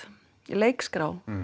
leikskrá